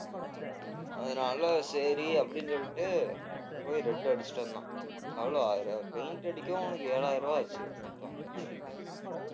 அதனால சரி அப்படின்னு சொல்லிட்டு போய் red அடிச்சிட்டு வந்தான் paint அடிக்க அவனுக்கு ஏழாயிரம் ரூபாய் ஆச்சு மொத்தம் வண்டிக்கு